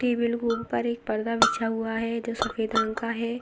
Table के ऊपर एक पर्दा बिछा हुआ है जो सफेद रंग का है।